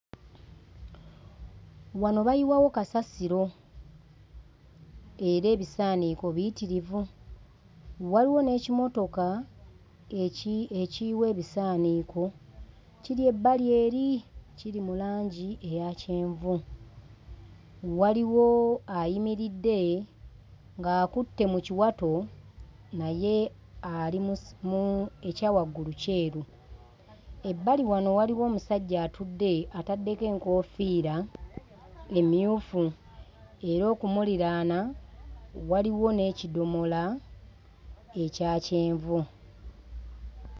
Wano bayiwawo kasasiro. Era ebisaaniiko biyitirivu. Waliwo n'ekimotoka ekiyiwa ebisaaniiko, kiri ebbali eri kiri mu langi eya kyenvu. Waliwo ayimiridde ng'akutte mu kiwato, naye ali mu ekyawaggulu kyeru. Ebbali wano waliwo omusajja atudde ataddeko enkoofiira emmyufu era okumuliraana waliwo n'ekidomola ekya kyenvu.